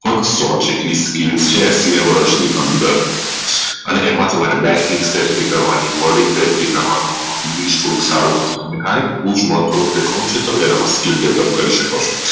લગભગ skill છે એક વર્ષ ની અંદર હવે એમાં તમારે કરવાની કરવાનું તમે એમાં skill Develop કરી શકો છો